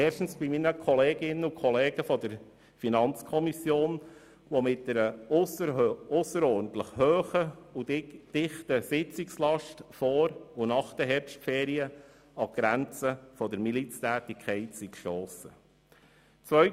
Erstens danke ich meinen Kolleginnen und Kollegen seitens der FiKo, die mit einer ausserordentlich hohen und dichten Sitzungslast vor und nach den Herbstferien an die Grenzen der Miliztätigkeit gestossen sind.